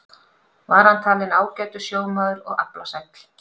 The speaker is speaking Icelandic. Var hann talinn ágætur sjómaður og aflasæll.